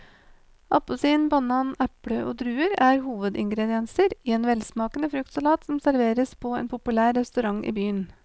Appelsin, banan, eple og druer er hovedingredienser i en velsmakende fruktsalat som serveres på en populær restaurant i byen.